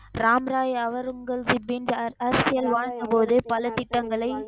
ராம் ராய் அவுரங்கசிப்பின் அரசியல் வாழ்த்தபோது பல திட்டங்களை,